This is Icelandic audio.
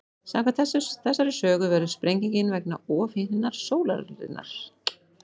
Samkvæmt þessari sögu verður sprengingin vegna ofhitnunar sólarinnar.